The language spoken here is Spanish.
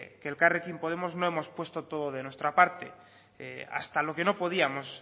que en elkarrekin podemos no hemos puesto todo de nuestra parte hasta lo que no podíamos